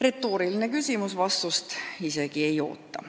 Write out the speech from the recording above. Retooriline küsimus, vastust isegi ei oota.